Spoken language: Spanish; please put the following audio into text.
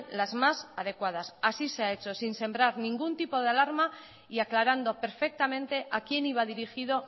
las más adecuadas así se ha hecho sin sembrar ningún tipo de alarma y aclarando perfectamente a quién iba a dirigido